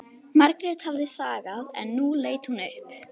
Margrét hafði þagað en nú leit hún upp.